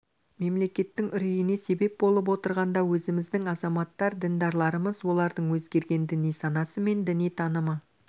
мемлекеттің үрейіне себеп болып отырған да өзіміздің азаматтар діндарларымыз олардың өзгерген діни санасы мен діни танымы